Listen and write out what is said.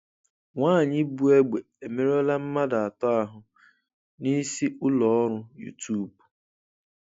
Nwanyị bụ egbe emerụọla mmadụ atọ ahụ n'isi ụlọ ọrụ YouTube